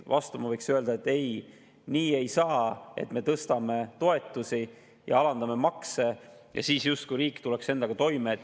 Vastu ma võiks öelda, et ei, nii ei saa, et me tõstame toetusi ja alandame makse ja siis justkui tuleb riik endaga toime.